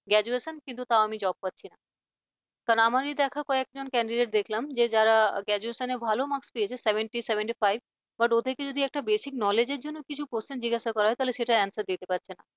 gradutation কিন্তু তাও আমি job পাচ্ছিনা কারন আমারই দেখা কয়েকজন candidate দেখলাম যে যারা graduation ভালো marks পেয়েছে seventy seventy five ওদেরকে যদি একটা basic knowledge র জন্য কিছু question জিজ্ঞেস করা হয় তাহলে সেটার answer দিতে পারছে না।